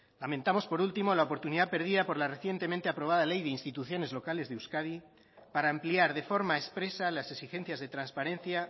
lamentamos por último la oportunidad perdida por la recientemente aprobada ley de instituciones locales de euskadi para ampliar de forma expresa las exigencias de transparencia